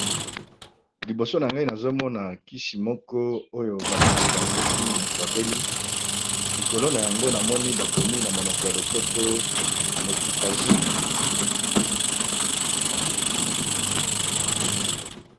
liboso na ngai nazomona kisi moko oyo bamelaka soki moto abeli likolo na yango namoni bakomi na monoko ya lopoto mekitazine